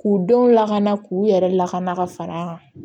K'u denw lakana k'u yɛrɛ lakana ka fara an kan